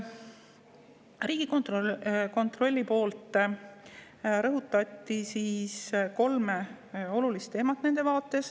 Riigikontrolli esindajad rõhutasid nende vaates kolme olulist teemat.